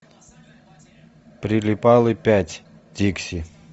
прилипалы пять дикси